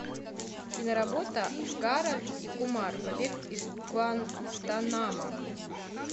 киноработа гарольд и кумар побег из гуантанамо